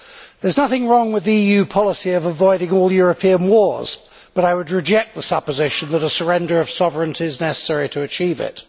There is nothing wrong with an EU policy of avoiding all European wars, but I would reject the supposition that a surrender of sovereignty is necessary to achieve that.